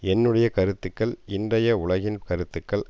என்னுடைய கருத்துக்கள் இன்றைய உலகின் கருத்துக்கள்